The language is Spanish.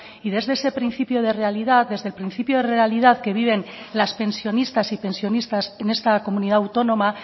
y desde ese principio de realidad desde el principio de realidad que viven las pensionistas y pensionistas en esta comunidad autónoma